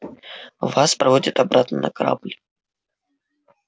вас проводят обратно на корабль